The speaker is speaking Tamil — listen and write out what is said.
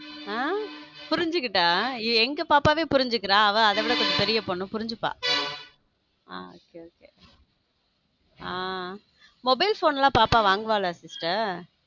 ஹம் புருஞ்சுக்கிட எங்க பாப்பாவே புரிஞ்சுக்குற அவ கொஞ்சம் பெரிய பொண்ணு புரிஞ்சுக்க okay okay hmm mobile phone லாம் பாப்பா வாங்குவாளா sister.